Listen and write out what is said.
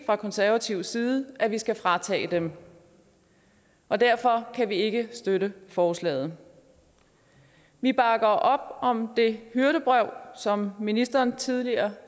fra konservativ side at vi skal fratage dem og derfor kan vi ikke støtte forslaget vi bakker op om det hyrdebrev som ministeren tidligere